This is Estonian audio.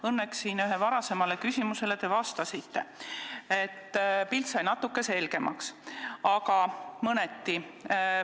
Õnneks te siin ühele varasemale küsimusele vastasite, pilt sai natukene selgemaks, aga ainult mõneti.